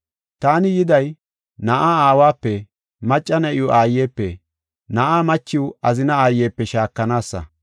Taani yiday, “ ‘Na7aa aawape macca na7iw aayepe na7aa machiw azina aayepe shaakanaasa.